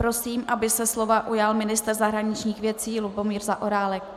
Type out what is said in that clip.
Prosím, aby se slova ujal ministr zahraničních věcí Lubomír Zaorálek.